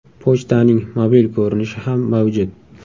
Pochtaning mobil ko‘rinishi ham mavjud.